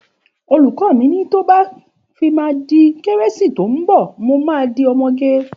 Òlúkò mi ni tọ bà fímà dí kẹrẹsi tọ mbọ mò ma dí ọmọgẹ.